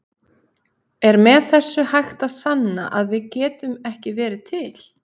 Er með þessu hægt að sanna að við getum ekki verið til?